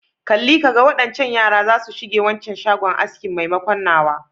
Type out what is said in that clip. Kalli ka ga, waɗancan yaran zasu shige waccan shagon aski maimakon nawa.